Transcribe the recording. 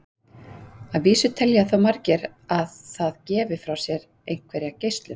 Að vísu telja þó margir að það gefi frá sér einhverja geislun.